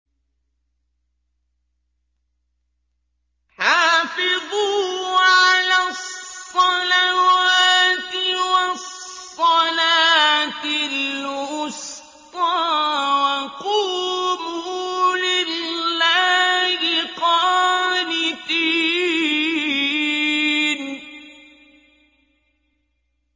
حَافِظُوا عَلَى الصَّلَوَاتِ وَالصَّلَاةِ الْوُسْطَىٰ وَقُومُوا لِلَّهِ قَانِتِينَ